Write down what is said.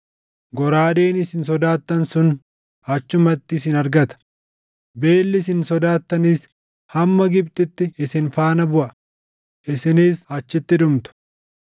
goraadeen isin sodaattan sun achumatti isin argata; beelli isin sodaattanis hamma Gibxitti isin faana buʼa; isinis achitti dhumtu.